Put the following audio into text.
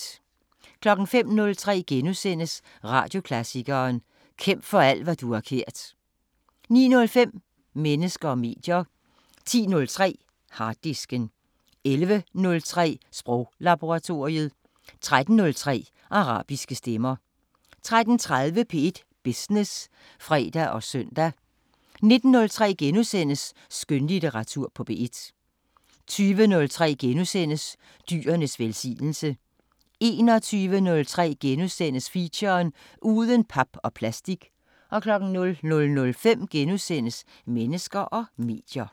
05:03: Radioklassikeren: Kæmp for alt hvad du har kært * 09:05: Mennesker og medier 10:03: Harddisken 11:03: Sproglaboratoriet 13:03: Arabiske Stemmer 13:30: P1 Business (fre og søn) 19:03: Skønlitteratur på P1 * 20:03: Dyrenes velsignelse * 21:03: Feature: Uden pap og plastik * 00:05: Mennesker og medier *